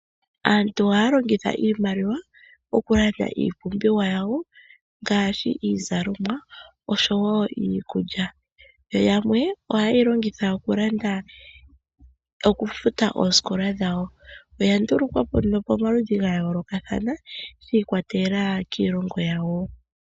Aantu ohaya longitha iimaliwa okulanda iipumbiwa yawo ngasshi izalomwa osho wo iikulya, yo yamwe ohayeyi longitha okufuta oosikola dhawo. Oyandulukwa po nduno pomaludhi gayoolokathana shi ikwatelela kiilongo yawo.